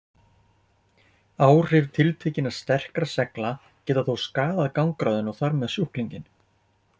Áhrif tiltekinna sterkra segla geta þó skaðað gangráðinn og þar með sjúklinginn.